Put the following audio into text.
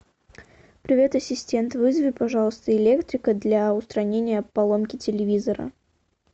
привет ассистент вызови пожалуйста электрика для устранения поломки телевизора